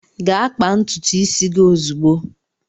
Gaa kpaa ntutu isi gị ozugbo!